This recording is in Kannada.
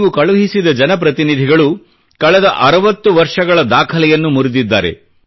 ನೀವು ಕಳುಹಿಸಿದ ಜನಪ್ರತಿನಿಧಿಗಳು ಕಳೆದ 60 ವರ್ಷಗಳ ದಾಖಲೆಯನ್ನು ಮುರಿದಿದ್ದಾರೆ